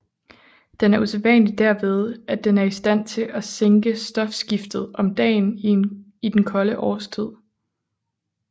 Den er usædvanlig derved at den er i stand til at sænke stofskiftet om dagen i den kolde årstid